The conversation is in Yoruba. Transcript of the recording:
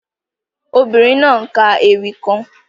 The woaman is reciting a poem